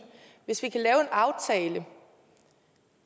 hvis vi kan lave en aftale